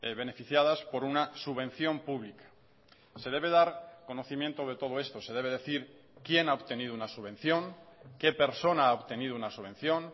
beneficiadas por una subvención pública se debe dar conocimiento de todo esto se debe decir quién ha obtenido una subvención qué persona ha obtenido una subvención